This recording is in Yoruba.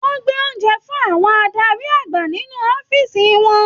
Wọn gbé oúnjẹ fún àwọn adarí àgbà nínú ọ̀fiísí wọn.